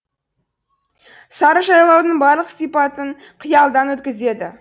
сарыжайлаудың барлық сыпатын қиялдан өткізеді